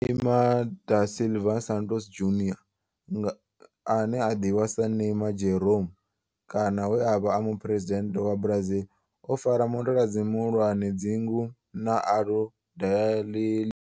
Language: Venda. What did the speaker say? Neymar da Silva Santos Junior nga, ane a ḓivhiwa sa Neymar Jeromme kana we a vha e muphuresidennde wa Brazil o fara mutaladzi muhulwane wa dzingu na Aludalelia.